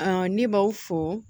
ne b'aw fo